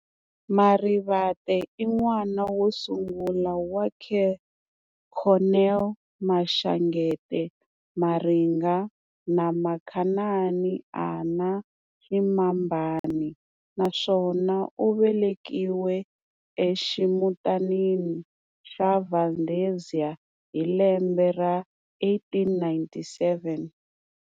Marivate i n'wana wo sungula wa Cornel Maxangete Maringa na Makhanani Annah Ximambana naswona u velekiwe eximutanini xa Valdezia hi lembe ra 1897.